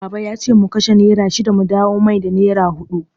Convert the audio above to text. Baba yace mu kashe nera shida mu dawo masa da nera huɗu.